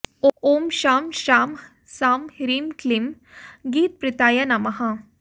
ॐ शं शां षं ह्रीं क्लीं गीतप्रीताय नमः